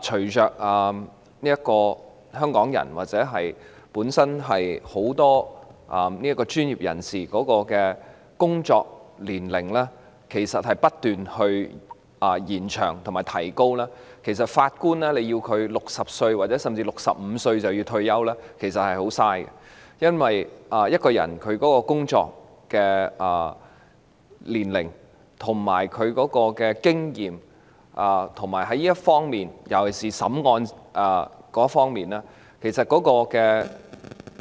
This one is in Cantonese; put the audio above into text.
隨着香港人或很多專業人士的工作年齡不斷延長，要求法官在60歲或65歲便要退休，其實十分浪費，因為法官的年資對於其經驗——尤其是審理案件方面的